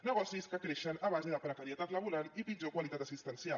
negocis que creixen a base de precarietat laboral i pitjor qualitat assistencial